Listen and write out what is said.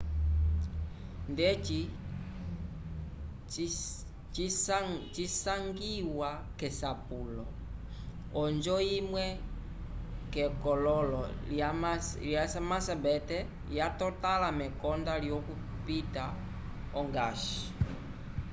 ndeci cisangiwa k'esapulo onjo imwe k'ekololo lya macbeth yatotãla mekonda lyokupita ongash